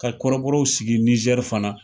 Ka kɔrɔbɔrɔw sigi Nizɛri fana.